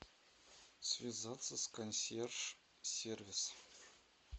связаться с консьерж сервис